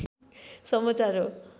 समचार हाे